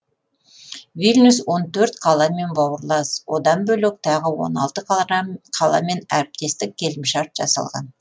вильнюс он төрт қаламен бауырлас одан бөлек тағы он алты қаламен әріптестік келімшарт жасалған